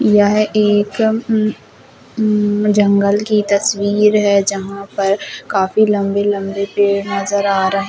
यह एक उम उम जंगल की तस्वीर है जहा पर काफी लम्बे लम्बे पेड़ नज़र आ रहे है।